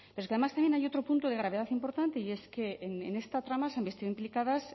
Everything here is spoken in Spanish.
pero es que además también hay otro punto de gravedad importante y es que en esta trama se han visto implicadas